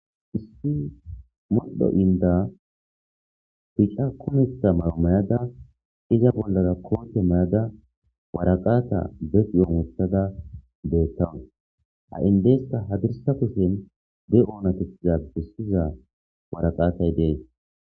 issi modho inda bica kumetha mayo mayada iza bollara koote mayada waraqaata beqiyoomothada beettawus ha indeesta hadirsa kushen be oonatitiza bissiza waraqaatay dees